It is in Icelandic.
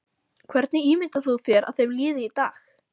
Hvernig ímyndar þú þér að þeim líði í dag?